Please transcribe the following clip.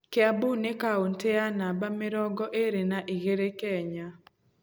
Kĩambu nĩ kaũntĩ ya namba mĩrongo ĩrĩ na igĩrĩ Kenya.